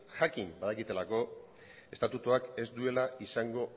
jakin badakitelako estatutuak ez duela izango